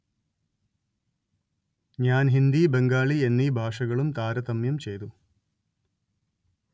ഞാന്‍ ഹിന്ദി ബംഗാളി എന്നീ ഭാഷകളും താരതമ്യം ചെയ്തു